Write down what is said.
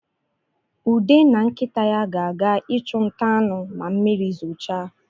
Ude na nkịta ya ga-aga ịchụ nta anụ ma mmiri zochaa